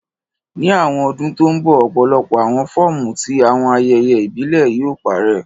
Ni awọn ọdun to nbọ, ọpọlọpọ awọn fọọmu ti awọn ayẹyẹ ibile yóò parẹ